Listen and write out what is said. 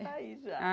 Ela está aí já.